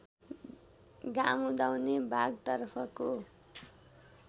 घाँम उदाउने भागतर्फको